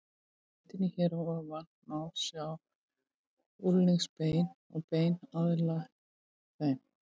Á myndinni hér að ofan má sjá úlnliðsbein og bein aðlæg þeim.